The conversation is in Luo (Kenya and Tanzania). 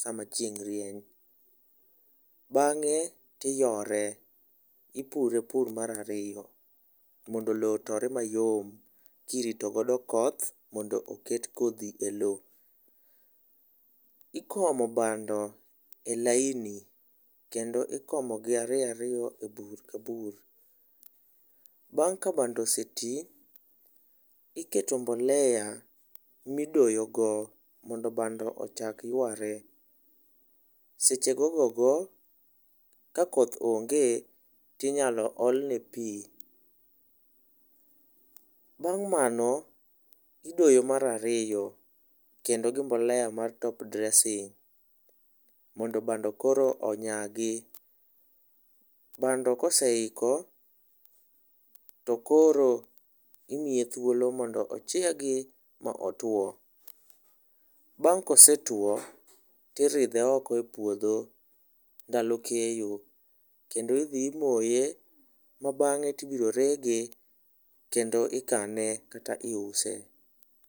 sama chieng' rieny. Bang'e tiyore , ipure pur mar ariyo mondo lowo otore mayom kirito godo koth mondo oket kodhi e lowo. Ikomo bando e laini kendo ikomo gi ariyo ariyo e bur ka bur. Bang' ka bando oseti iketo mbolea midoyo go mondo bando ochak yware seche gogo go ka koth onge tinyalo ol ne pii . Bang' mano idoyo mar ariyo kendo gi mbolea mar top dressing mondo koro bado onyagi. Bando koseiko to koro imiye thuolo mondo ochiegi ma otwo . Bang' kosetwo tiridhe oko e puodho ndalo keyo kendi dhi imoye ma bang'e tibro rege kendo ikane kata iuse.